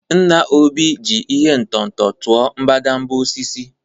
Nna Obi ji ihe ọ̀tụ̀tụ̀ tụọ mbadamba osisi